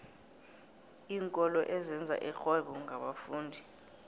iinkolo ezenza irhwebo ngabafundi